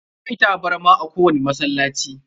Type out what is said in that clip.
Akwai tabarma a ko wani masallaci.